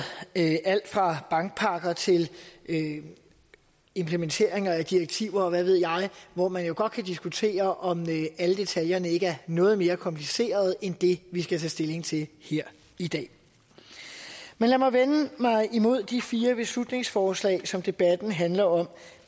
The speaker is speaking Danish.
alt fra bankpakker til implementering af direktiver og hvad ved jeg hvor man jo godt kan diskutere om alle detaljerne ikke er noget mere komplicerede end det vi skal tage stilling til her i dag men lad mig vende mig mod de fire beslutningsforslag som debatten handler om